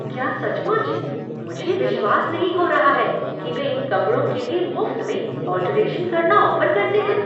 क्या सचमुच? मुझे विश्वास नहीं हो रहा है कि वे इन कपड़ों के लिए मुफ्त में ऑल्टरेशन करना ऑफ़र करते हैं!